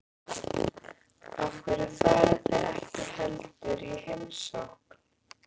Af hverju farið þið ekki heldur í heimsókn?